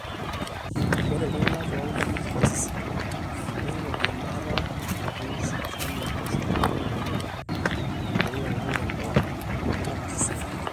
ore iltung'anak loonkajijik karsisi neingori embaata nairagi sipitali toosipitalini ooloopeny tenkumoi alang lelo lemekarsisi naleng